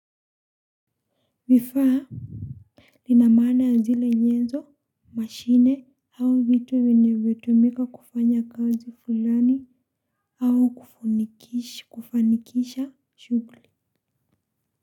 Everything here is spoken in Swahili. Vifaa nina maana ya zile nyenzo, mashine, au vitu vyenye hutumika kufanya kazi fulani. Au kufanikisha shughuli.